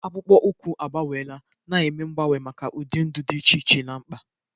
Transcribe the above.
Akpụkpọ ụkwụ agbanweela, na-eme mgbanwe maka ụdị ndụ dị iche iche na mkpa.